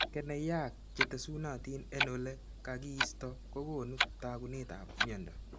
Keneyaak che tesunatin en ole kakiisto kokoonu taakunetab myondo.